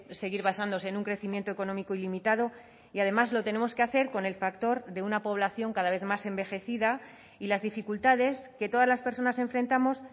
seguir basándose en un crecimiento económico ilimitado y además lo tenemos que hacer con el factor de una población cada vez más envejecida y las dificultades que todas las personas enfrentamos